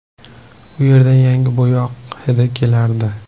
U yerdan yangi bo‘yoq hidi kelardi.